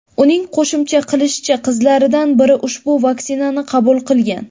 Uning qo‘shimcha qilishicha, qizlaridan biri ushbu vaksinani qabul qilgan.